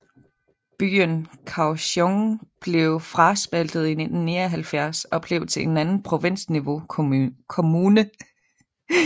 Byen Kaohsiung blev fraspaltet i 1979 og blev til en anden provinsniveau kommune